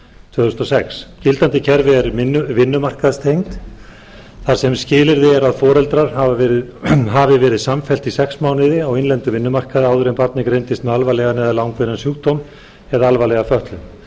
tvö þúsund og sex gildandi kerfi er vinnumarkaðstengt þar sem skilyrði er að foreldrar hafi verið samfellt í sex mánuði á innlendum vinnumarkaði áður en barnið greindist með alvarlegan eða langvinnan sjúkdóm eða alvarlega fötlun